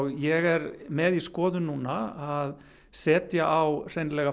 ég er með í skoðun núna að setja á hreinlega